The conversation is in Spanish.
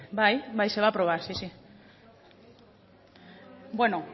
bai bai se va a aprobar sí sí bueno